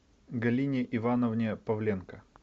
галине ивановне павленко